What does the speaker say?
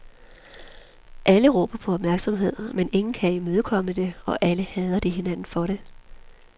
Alle råber på opmærksomhed, men ingen kan imødekomme det, og alle hader de hinanden for det.